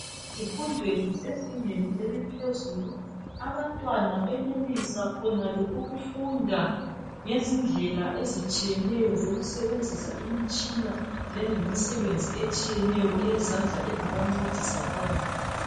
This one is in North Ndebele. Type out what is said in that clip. Ezifundweni zezingeni eliphezulu abantwana benelisa khonale ukufunda ngezindlela ezitshiyeneyo zokusebenzisa imitshina langemisebenzi etshiyeneyo eyezandla engabancedisa phambili.